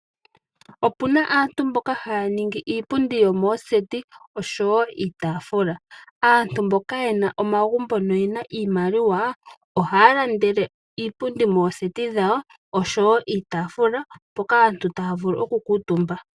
Opuna aantu mboka haya ningi iipundi yo mooseti osho wo iitafula, aantu mboka yana omagumbo noye na iimaliwa ohaya landele iipundi mooseti dhawo osho wo iitafula mpoka aantu taya vulu okukuutumba.